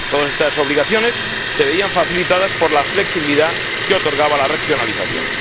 Todas estas obligaciones se veían facilitadas por la flexibilidad que otorgaba la regionalización.